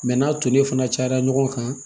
n'a tonen fana cayara ɲɔgɔn kan